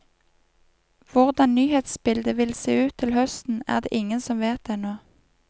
Hvordan nyhetsbildet vil se ut til høsten, er det ingen som vet ennå.